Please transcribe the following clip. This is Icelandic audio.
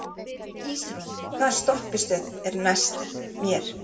Ísrún, hvaða stoppistöð er næst mér?